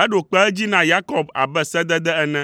Eɖo kpe edzi na Yakob abe sedede ene,